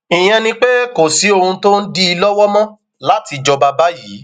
ìyẹn ni pé kò sí ohun tó ń dí i lọwọ mọ láti jọba báyìí